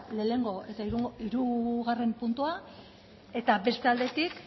batgarrena eta hirugarrena puntua eta beste aldetik